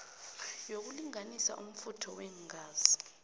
yokulinganisa umfutho weengazi